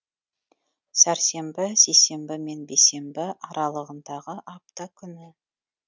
сәрсенбі сейсенбі мен бейсенбі аралығындағы апта күні